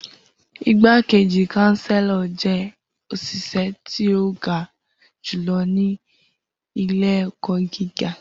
Igbakeji kanselo jẹ oṣiṣẹ ti o ga julọ ni ile-ẹkọ giga